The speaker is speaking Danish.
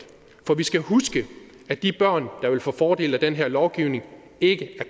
vi skal huske at de børn der vil få fordel af den her lovgivning ikke